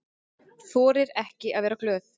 Þorir ekki að vera glöð.